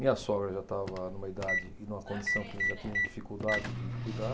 Minha sogra já estava numa idade e numa condição que já tinha dificuldade de cuidar.